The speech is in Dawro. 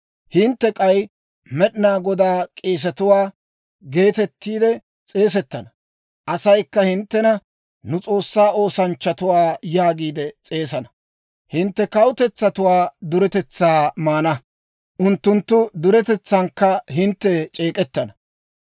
Hintte k'ay, «Med'inaa Godaa k'eesetuwaa» geetettiide s'eesettana; asaykka hinttena, «Nu S'oossaa oosanchchatuwaa» yaagiide s'eesana. Hintte kawutetsatuwaa duretetsaa maana; unttunttu duretetsaankka hintte c'eek'k'etana.